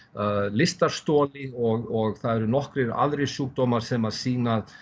lystarstoli og það eru nokkrir aðrir sjúkdómar sem að sýna